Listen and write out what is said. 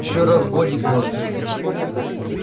ещё раз годик может быть